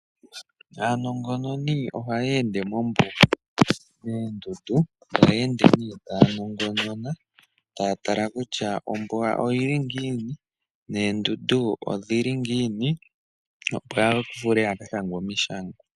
Aanongononi ohaya ende mombuga moondundu taya ende nee taya nongonona, taya tala kutya ombuga oyili ngiini noondundu odhili ngiini opo ya vule ya ka shange omishangwa.